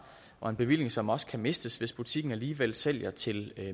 og en bevilling som også kan mistes hvis butikken alligevel sælger til